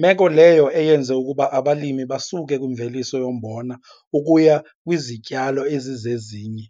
meko leyo eyenze ukuba abalimi basuke kwimveliso yombona ukuya kwizityalo ezizezinye.